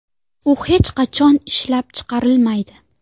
U hech qachon ishlab chiqarilmaydi.